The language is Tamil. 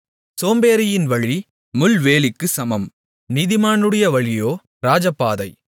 சோம்பேறியின் வழி முள்வேலிக்குச் சமம் நீதிமானுடைய வழியோ ராஜபாதை